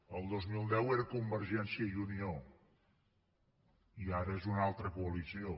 el dos mil deu era convergència i unió i ara és una altra coalició